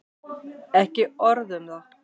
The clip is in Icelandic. Ekki orð um það.